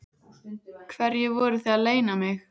Hverju voruð þið að leyna mig?